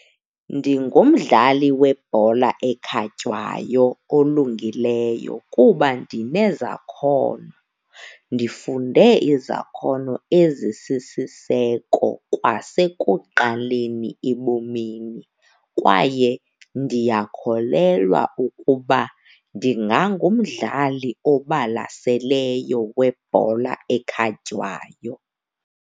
Ndingumdlali webhola ekhatywayo olungileyo kuba ndinezakhono, ndifunde izakhono ezisisiseko kwasekuqaleni ebomini. Kwaye ndiyakholelwa ukuba ndingangumdlali obalaseleyo webhola ekhatywayo.